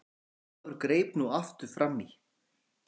Jón Ólafur greip nú aftur framí.